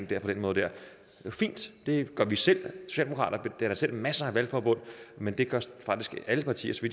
den måde det er fint det gør vi selv socialdemokraterne danner selv masser af valgforbund men det gør faktisk alle partier så